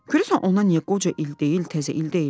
Görəsən ona niyə qoca il deyil, təzə il deyirlər?